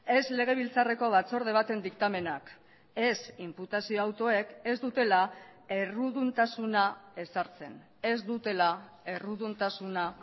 ez legebiltzarreko batzorde baten diktamenak ez inputazio autoek ez dutela erruduntasuna ezartzen ez dutela erruduntasuna